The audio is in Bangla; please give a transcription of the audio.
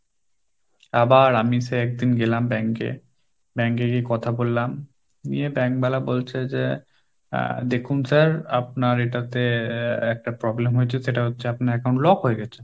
আবার আমি সেই একদিন গেলাম bank এ, bank এ গিয়ে কথা বললাম নিয়ে bank Hindi বলছে যে আহ দেখুন sir আপনার এটাতে একটা problem হয়েছে সেটা হচ্ছে আপনার account lock হয়ে গেছে।